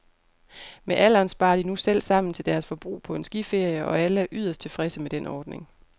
Med alderen sparer de nu selv sammen til deres forbrug på en skiferie, og alle er yderst tilfredse med den ordning.